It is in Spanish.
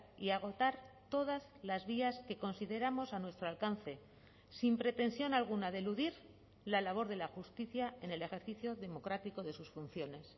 y a agotar todas las vías que consideramos a nuestro alcance sin pretensión alguna de eludir la labor de la justicia en el ejercicio democrático de sus funciones